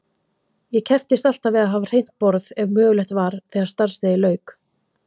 Ég kepptist alltaf við að hafa hreint borð ef mögulegt var þegar starfsdegi lauk.